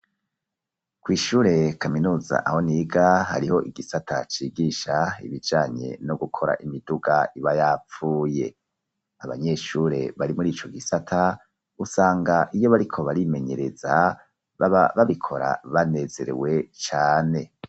Kw'Ishuri kaminuza aho niga, hariho igisata cigisha ibijanye no gukora imiduga ibayapfuye, Abanyeshure bari muri ico gisata, usanga iyo bariko barimenyereza baba babikora banezerewe cane.